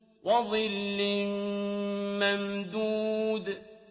وَظِلٍّ مَّمْدُودٍ